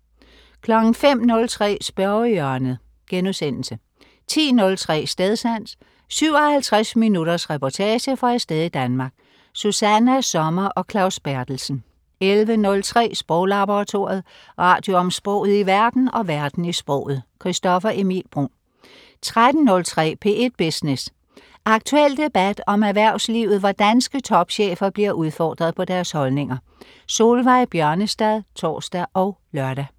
05.03 Spørgehjørnet* 10.03 Stedsans. 57 minutters reportage fra et sted i Danmark. Susanna Sommer og Claus Berthelsen 11.03 Sproglaboratoriet. Radio om sproget i verden og verden i sproget. Christoffer Emil Bruun 13.03 P1 Business. Aktuel debat om erhvervslivet, hvor danske topchefer bliver udfordret på deres holdninger. Solveig Bjørnestad (tors og lør)